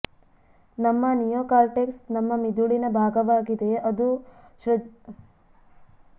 ನಮ್ಮ ನಿಯೋಕಾರ್ಟೆಕ್ಸ್ ನಮ್ಮ ಮಿದುಳಿನ ಭಾಗವಾಗಿದೆ ಅದು ಅದು ಸೃಜನಶೀಲತೆ ಮತ್ತು ಒಳನೋಟವನ್ನು ಹೆಚ್ಚಿಸುತ್ತದೆ